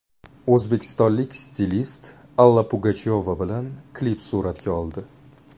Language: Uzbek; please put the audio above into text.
O‘zbekistonlik stilist Alla Pugachyova bilan klip suratga oldi .